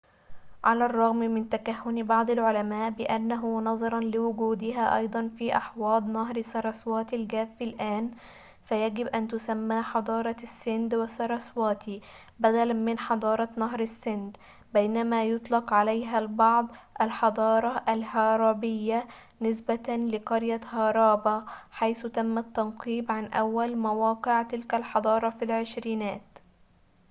على الرغم من تكهّن بعض العلماء بأنه نظراً لوجودها أيضاً في أحواض نهر ساراسواتي الجاف الآن فيجب أن تسمى حضارة السند والساراسواتي بدلاً من حضارة نهر السند بينما يطلق عليها البعض الحضارة الهارابية نسبةً لقرية هارابا حيث تم التنقيب عن أول مواقع تلك الحضارة في العشرينيات